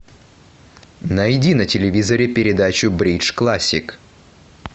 найди на телевизоре передачу бридж классик